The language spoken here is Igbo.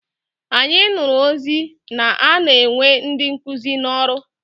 Anyị nụrụ ozi na-ana ewe ndị nkụzi n'ọrụ.